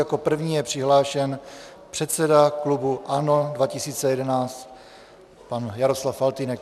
Jako první je přihlášen předseda klubu ANO 2011 pan Jaroslav Faltýnek.